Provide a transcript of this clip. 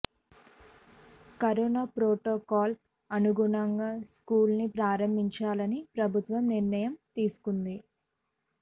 corona ప్రోటోకాల్కి అనుగుణంగా schools ను ప్రారంభించాలని ప్రభుత్వం నిర్ణయం తీసుకొంది